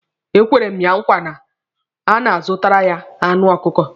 E kwere m ya nkwa na a na-azụtara ya anụ ọkụkọ.